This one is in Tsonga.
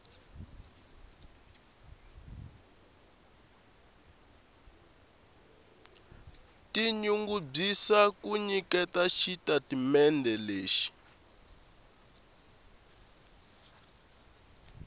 tinyungubyisa ku nyiketa xitatimendhe lexi